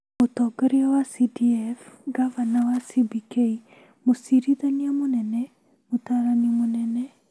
mũtongoria wa CDF, ngavana wa CBK, mũcirithania mũnene, mũtaarani mũnene,